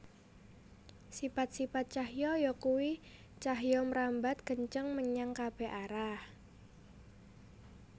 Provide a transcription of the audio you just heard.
Sipat sipat cahya yakuwi cahya mrambat kenceng menyang kabèh arah